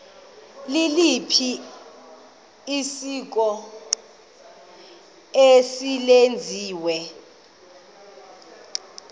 liliphi isiko eselenziwe